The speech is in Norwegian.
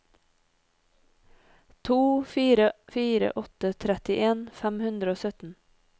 to fire fire åtte trettien fem hundre og sytten